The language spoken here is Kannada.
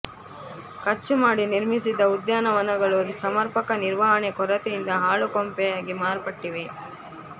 ಖರ್ಚು ಮಾಡಿ ನಿರ್ಮಿಸಿದ್ದ ಉದ್ಯಾನಗಳು ಸಮರ್ಪಕ ನಿರ್ವಹಣೆ ಕೊರತೆಯಿಂದ ಹಾಳು ಕೊಂಪೆಯಾಗಿ ಮಾರ್ಪಟ್ಟಿವೆ